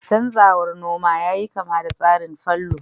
canzawar noma yayi kama da tsarin fallow